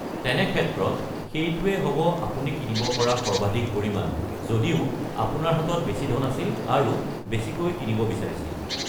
তেনে ক্ষেত্ৰত সেইটোৱে হ'ব আপুনি কিনিব পৰা সৰ্বাধিক পৰিমাণ, যদিও আপোনাৰ হাতত বেছি ধন আছিল আৰু বেছিকৈ কিনিব বিছাৰিছিল।